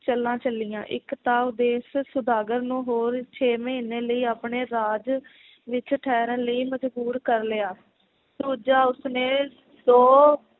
ਚਾਲਾਂ ਚੱਲੀਆਂ ਇਕ ਤਾਂ ਉਹ ਦੇਸ਼ ਸੌਦਾਗਰ ਨੂੰ ਹੋਰ ਛੇਹ ਮਹੀਨੇ ਲਈ ਆਪਣੇ ਰਾਜ ਵਿਚ ਠਹਿਰਨ ਲਈ ਮਜਬੂਰ ਕਰ ਲਿਆ ਦੂਜਾ ਉਸਨੇ ਦੋ